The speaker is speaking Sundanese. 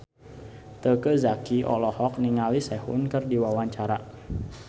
Teuku Zacky olohok ningali Sehun keur diwawancara